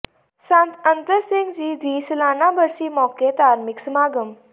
ਸੰਤ ਅਤਰ ਸਿੰਘ ਜੀ ਦੀ ਸਾਲਾਨਾ ਬਰਸੀ ਮੌਕੇ ਧਾਰਮਿਕ ਸਮਾਗਮ